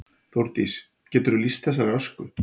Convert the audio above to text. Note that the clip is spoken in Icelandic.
Þórdís: Geturðu lýst þessari ösku?